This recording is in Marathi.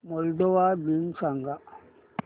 मोल्दोवा दिन सांगा